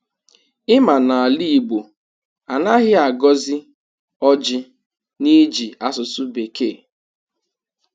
Ị ma na ala igbọ, anaghị agọzi ọjị n’ịjị asụsụ bekee?